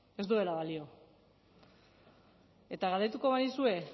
ez duela balio eta galdetuko banizue